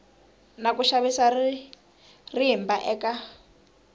na ku xavisa rimba eka